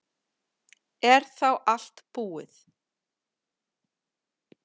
Er þá allt búið?